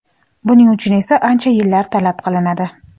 Buning uchun esa ancha yillar talab qilinadi.